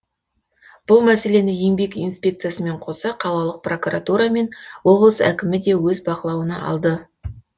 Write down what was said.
бұл мәселені еңбек инспекциясымен қоса қалалық прокуратура мен облыс әкімі де өз бақылауына алды